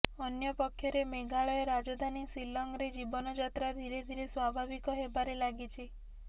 ଅନ୍ୟ ପକ୍ଷରେ ମେଘାଳୟ ରାଜଧାନୀ ସିଲଂରେ ଜୀବନଯାତ୍ରା ଧୀରେ ଧୀରେ ସ୍ୱାଭାବିକ ହେବାରେ ଲାଗିଛି